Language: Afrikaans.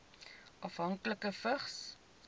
afhanklikes vigs